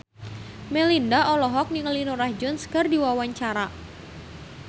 Melinda olohok ningali Norah Jones keur diwawancara